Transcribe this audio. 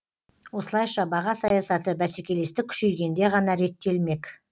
осылайша баға саясаты бәсекелестік күшейгенде ғана реттелмек